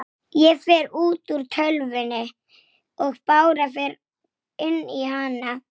Sumir hrósuðu pabba fyrir bókina.